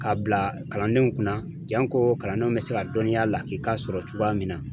K'a bila kalandenw kunna janko kalandenw bɛ se ka dɔnniya lakika sɔrɔ cogoya min na.